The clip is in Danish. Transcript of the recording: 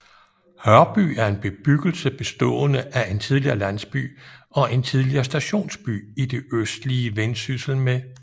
Hørby er en bebyggelse bestående af en tidligere landsby og en tidligere stationsby i det østlige Vendsyssel med